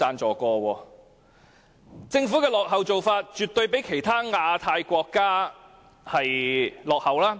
政府的做法絕對比其他亞太國家落後。